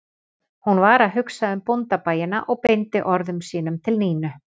Hún var að hugsa um bóndabæina og beindi orðum sínum til Nínu